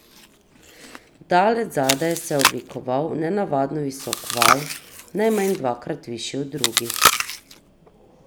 Daleč zadaj se je oblikoval nenavadno visok val, najmanj dvakrat višji od drugih.